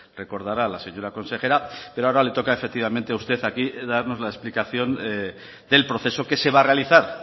recordará la señora consejera pero ahora le toca a usted aquí darnos la explicación del proceso que se va a realizar